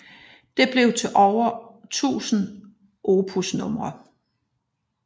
Det blev til over 1000 opusnumre